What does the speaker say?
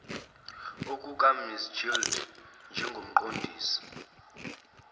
okukams gilder njengomqondisi